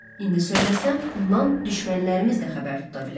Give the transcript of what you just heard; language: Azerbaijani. İndi söyləsəm, bundan düşmənlərimiz də xəbər tuta bilər.